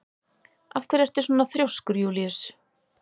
Af hverju ertu svona þrjóskur, Júlíus?